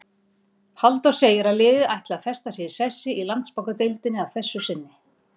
Halldór segir að liðið ætli að festa sig í sessi í Landsbankadeildinni að þessu sinni.